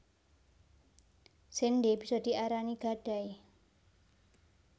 Séndhé bisa diarani gadai